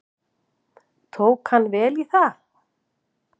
Tók hann vel í það.